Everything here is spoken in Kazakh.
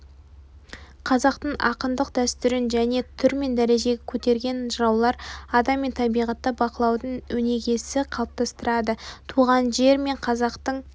қазақтың ақындық дәстүрін жаңа түр мен дәрежеге көтерген жыраулар адам мен табиғатты бақылаудың өнегесін қалыптастырды туған жер мен қазақтың